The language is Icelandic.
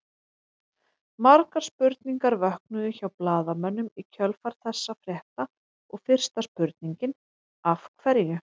Margar spurningar vöknuðu hjá blaðamönnum í kjölfar þessa frétta og fyrsta spurningin Af hverju?